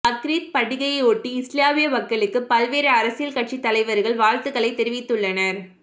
பக்ரீத் பண்டிகையையொட்டி இஸ்லாமிய மக்களுக்கு பல்வேறு அரசியல் கட்சி தலைவர்கள் வாழ்த்துகளை தெரிவித்துள்ளனர்